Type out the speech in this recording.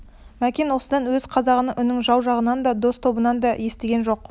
мәкен осыдан өзге қазақ үнін жау жағынан да дос тобынан да естіген жоқ